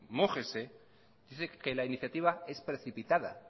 mójese dice que la iniciativa es precipitada